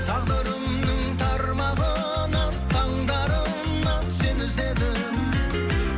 тағдырымның тармағынан таңдарынан сені іздедім